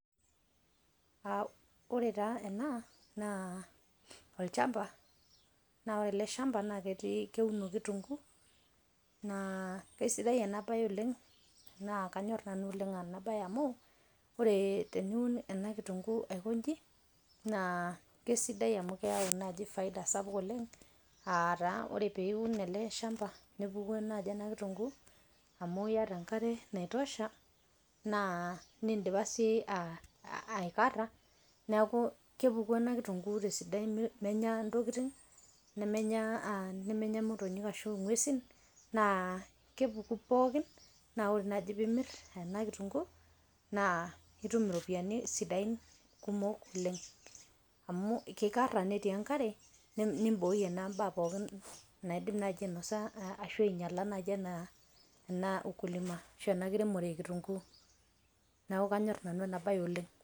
Ore taa ena naa olchamba, naa ore ale shamba naa keuno inkitunguu naa kesidai ena baye oleng naa kanyorr nanu oleng en a baye amuu ore teniun ena inkitunguu aikoinji naa kesidai amu keyau naaji faida sapuk oleng aataa ore peiun ale shamba enaaji ena inkutunguu amu ieta inkare naitosha naa niindipa sii aikarra neaku kepuku ena inkitunguu te sidai emenya ntokitin nemenya motonyi ashu ung'wesin naa kepuku pookin, naa ore dei piimir ena inkitunguu naa itum iropiyiani sidain kumok oleng amu keikarra netii enkare nimbooiye naa imbaa pookin naake ainosa ashu ainyala enaaji ana ukulima ashu ana enkiriemore ekitunguu, naaku kanyorr nanu ena baye oleng.